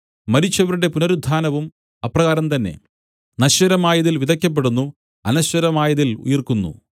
മരിച്ചവരുടെ പുനരുത്ഥാനവും അപ്രകാരം തന്നെ നശ്വരമായതിൽ വിതയ്ക്കപ്പെടുന്നു അനശ്വരമായതിൽ ഉയിർക്കുന്നു